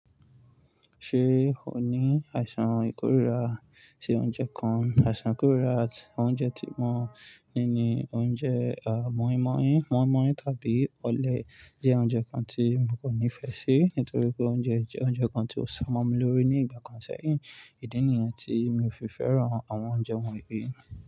Ṣé o ní àìsàn ìkórìíra sí oúnjẹ kan? Àìsàn ìkórìíra àti oúnjẹ tí mo ní ni oúnjẹ, a, mọ̀í-mọ̀-íń, mọ̀í-mọ̀-íń tàbí ọ̀lẹ jẹ́ oúnjẹ kan tí mo kò nífẹ̀ẹ́ sí nítorí pé ó ń jẹ oúnjẹ kan tí ó ṣamọ́ mi lórí ní ìgbà kan sẹ́yìn. Ìdí nìyẹn tí mi ò fi fẹ́ràn àwọn oúnjẹ wọ̀nyí.